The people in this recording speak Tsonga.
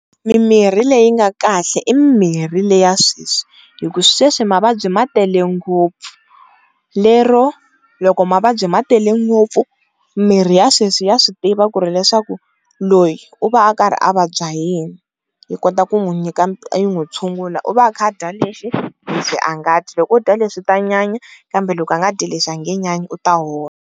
Mimirhi leyi nga kahle i mimirhi le ya sweswi hi ku sweswi mavabyi ma tele ngopfu lero loko mavabyi ma tele ngopfu mimirhi ya sweswi ya swi tiva ku ri leswaku loyi u va u karhi a vabya yini, yi kota ku n'wi yi n'wi tshungula u va a kha a dya leswi, leswi a nga dyi loko u dya leswi u ta nyanya kambe loko o dya leswi a nge nyanyi u ta hola.